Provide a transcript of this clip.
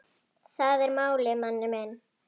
Það er málið, manni minn.